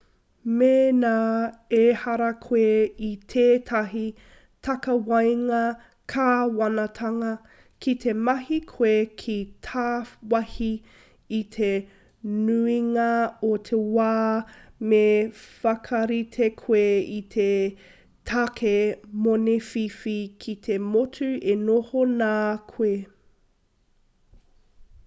mēnā ehara koe i tētahi takawaenga kāwanatanga ki te mahi koe ki tāwāhi i te nuinga o te wā me whakarite koe i te tāke moni whiwhi ki te motu e noho nā koe